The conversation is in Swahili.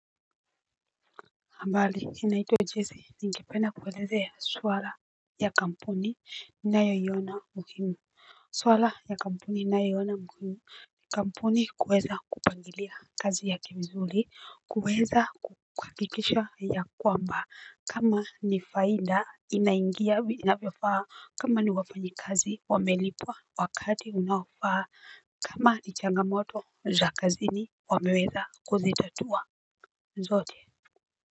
Mbali inaitwa Jesse ningependa kuuelezea swala ya kampuni ninayoiona muhimu. Swala ya kampuni ninayoiona muhimu. Kampuni kuweza kupangilia kazi yake vizuri kuweza kuhakikisha ya kwamba kama ni faida inaingia inavyofaa kama ni wafanyikazi wamelipwa wakati unaofaa kama ni changamoto za kazini wameweza kuzitatua zote.